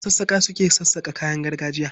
Masassaƙa su ke sassaƙa kayan gargajiya.